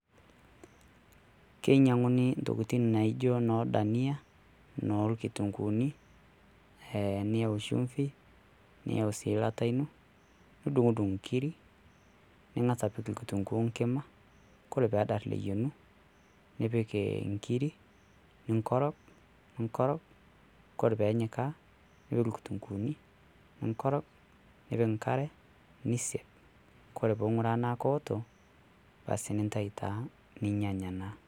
Keinyiang'uni Intokitin naijio enoo Dania noorkitunguuni ee niyau shumvi, niyau sii elata ino, nidung'udung' inkiri nipik engitunguu enkima kore pee edarr ayiengu nipik Engiri, ning'orog' ning'orog' ore pee enyikaa nipik irkitunguuni , ning'orog', nipik enk'are nisaiaj' ore pee ing'uraa tenaa keoto basi neitayu taa ninyanya taa.